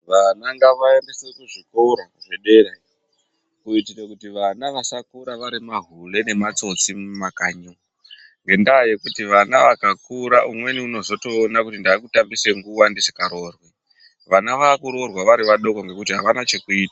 Vana ngavaendeswa kuzvikora zvedera kuitira kuti vana vasakura vari mahure nematsotsi mumakanyi. Ngendaa yekuti vana vakakura umweni anotozoona kuti ndakutambisa nguwa ndisangaroori. Vana vakuroorwa vachiri vadoko nekuti avana chekuita.